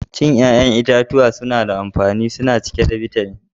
Cin yayan itatuwa na da amfani. Suna cike da bitamin